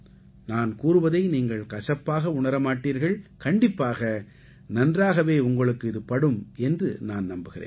நான் கூறுவதை நீங்கள் கசப்பாக உணர மாட்டீர்கள் கண்டிப்பாக நன்றாகவே உங்களுக்கு இது படும் என்று நான் நம்புகிறேன்